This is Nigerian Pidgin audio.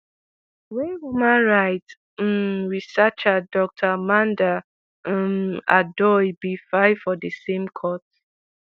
wey human rights um researcher dr amanda um odoi bin file for di same court